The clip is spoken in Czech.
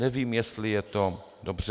Nevím, jestli je to dobře.